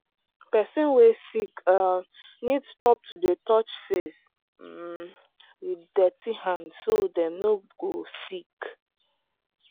persin wey sick um need stop to dey touch face um with dirty hand so dem no go sick.